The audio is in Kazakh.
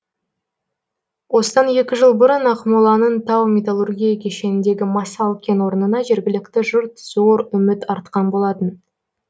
осыдан екі жыл бұрын ақмоланың тау металлургия кешеніндегі масал кен орнына жергілікті жұрт зор үміт артқан болатын